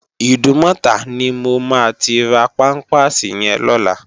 Idúmòtá ni mó má ti rá pàmpásí yèn lòlá